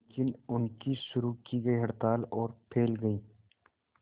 लेकिन उनकी शुरू की गई हड़ताल और फैल गई